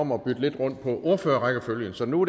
om at bytte lidt rundt på ordførerrækkefølgen så nu